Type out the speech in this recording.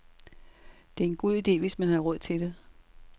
Det er en god idé, hvis man har råd til det.